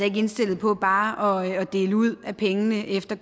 ikke indstillet på bare at dele ud af pengene efter